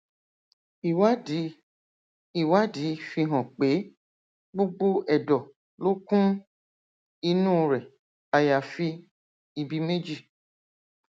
ìwádìí ìwádìí fi hàn pé gbogbo ẹdọ ló kún inú rẹ àyàfi ibi méjì